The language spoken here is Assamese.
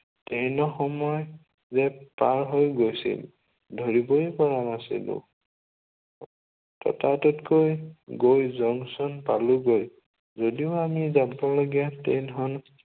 ট্ৰেইনৰ সময় ৰেট পাৰ হৈ গৈছিল। ধৰিবই পৰা নাছিলো। ততাতৈতকৈ গৈ জংচন পালোগৈ। যদিও আমি যাবলগীয়া ট্ৰেইনখন